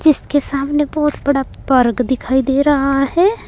इसके सामने बहोत बड़ा पार्क दिखाई दे रहा है।